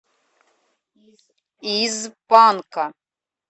из панка